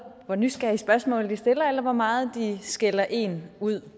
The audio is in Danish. hvor nysgerrige spørgsmål de stiller eller hvor meget de skælder en ud